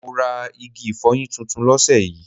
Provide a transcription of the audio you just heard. Mo rà igi ifoyin titun lóse yí